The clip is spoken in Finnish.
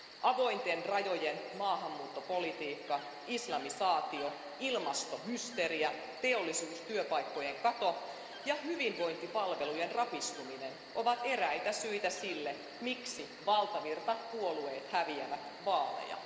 Avointen rajojen maahanmuuttopolitiikka, islamisaatio, ilmastohysteria, teollisuustyöpaikkojen kato ja hyvinvointipalvelujen rapistuminen ovat eräitä syitä sille, miksi valtavirtapuolueet häviävät vaaleja.